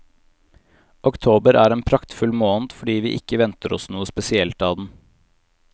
Oktober er en praktfull måned fordi vi ikke venter oss noe spesielt av den.